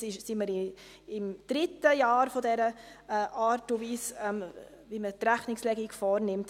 Jetzt sind wir im dritten Jahr mit der Art und Weise, wie man die Rechnungslegung vornimmt.